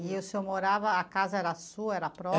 E o senhor morava, a casa era sua, era